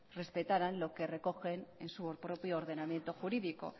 respetaran lo que recoge en su propio ordenamiento jurídico